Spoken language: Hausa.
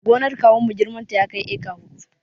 Gonar kawunmu girmanta ya kai eka huɗu